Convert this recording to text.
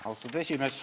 Austatud juhataja!